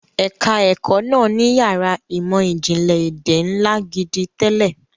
Ẹ̀ka ẹ̀kó náà ní yàrá ìmọ̀ ìjìnlẹ̀ èdè ńlá gidi tẹ́lẹ̀.